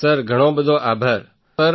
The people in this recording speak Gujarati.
સર ઘણો બધો આભાર સર